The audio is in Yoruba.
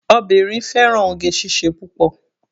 Obìnrin fẹ́ràn oge síṣe púpọ̀.